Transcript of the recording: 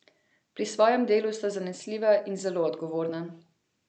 Pri svojem delu sta zanesljiva in zelo odgovorna.